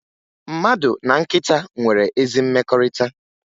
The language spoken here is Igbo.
Mmadụ na nkịta nwere ezi mmekọrịta